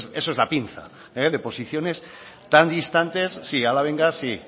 bueno esa es la pinza de posiciones tan distantes sí ahora venga sí